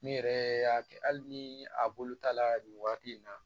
Ne yɛrɛ y'a kɛ hali ni a bolo ta la nin waati in na